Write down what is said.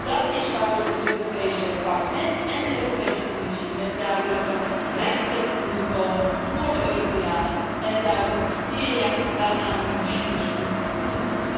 Dat is waarom het Europees Parlement en de Europese Commissie duidelijke rechten moeten vastleggen voor de Europeanen en duidelijke criteria waaraan die machines moeten voldoen.